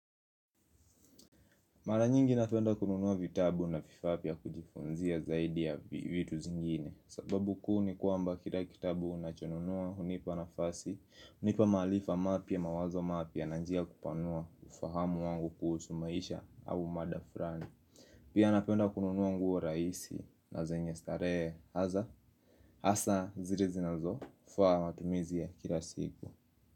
Mara nyingi napenda kununua vitabu na vifaa vya kujifunzia zaidi ya vitu zingine. Sababu kuu ni kwamba kila kitabu unachonunua hunipa nafasi hunipa maarifa mapya mawazo mapya na njia ya kupanua ufahamu wangu kuhusu maisha au mada fulani. Pia napenda kununua nguo rahisi na zenye starehe haza hasa zile zinazofaa matumizia ya kila siku.